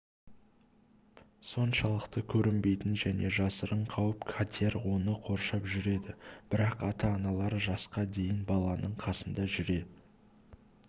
соншалықты көрінбейтін және жасырын қауіп-қатер оны қоршап жүреді бірақ ата-аналар жасқа дейін баласының қасында жүре